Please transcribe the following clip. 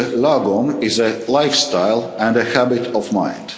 lagom is a lifestyle and a habit of mind.